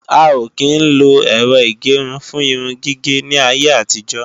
A ò kí ń lo Ẹ̀rọ ìgẹrun fún irun gígé ní ayé àtijọ́